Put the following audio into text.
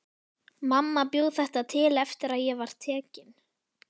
Mamma bjó þetta til eftir að ég var tekin.